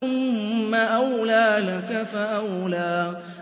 ثُمَّ أَوْلَىٰ لَكَ فَأَوْلَىٰ